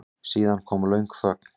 Síðan kom löng þögn.